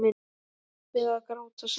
Við að gráta saman.